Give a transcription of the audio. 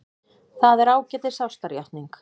Það er ágætis ástarjátning.